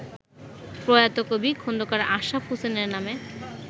প্রয়াত কবি খোন্দকার আশরাফ হোসেনের নামে